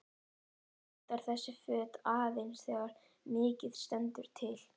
Hann notar þessi föt aðeins þegar mikið stendur til.